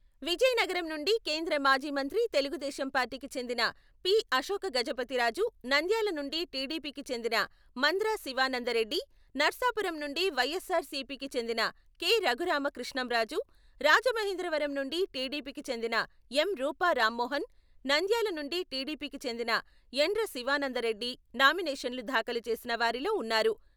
విజయనగరం నుండి కేంద్ర మాజీమంత్రి తెలుగుదేశం పార్టీకి చెందిన పి. అశోకగజపతిరాజు, నంద్యాల నుండి టిడిపికి చెందిన మంద్రా శివానందరెడ్డి, నర్సాపురం నుండి వైఎస్సార్ సిపి కి చెందిన కె. రఘురామ కృష్ణంరాజు, రాజమహేంద్రవరం నుండి టిడిపి కి చెందిన ఎం. రూపా రామ్మోహన్, నంద్యాల నుండి టిడిపికి చెందిన యండ్ర శివానందరెడ్డి నామినేషన్లు దాఖలు చేసినవారిలో ఉన్నారు.